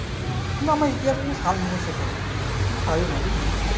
না আমার ইতিহাসে সাল মুখস্ত থাকে না আমি পারি না বুঝলি